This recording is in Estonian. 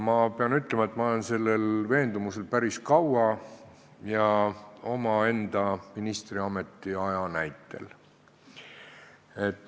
Ma pean ütlema, et ma olen sellel veendumusel olnud päris kaua ja seda omaenda ministriametis oldud aja põhjal.